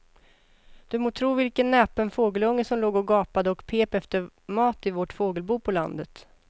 Du må tro vilken näpen fågelunge som låg och gapade och pep efter mat i vårt fågelbo på landet.